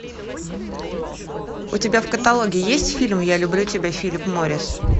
у тебя в каталоге есть фильм я люблю тебя филипп моррис